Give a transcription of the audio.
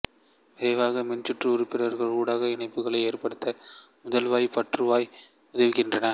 விரைவாக மின்சுற்று உறுப்புகள் ஊடாக இணைப்புகளை ஏற்படுத்த முதலைவாய் பற்றுவாய்கள் உதவுகின்றன